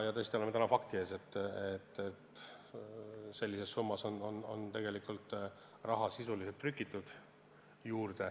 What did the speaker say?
Täna oleme tõesti fakti ees, et sellises summas on tegelikult raha sisuliselt juurde trükitud.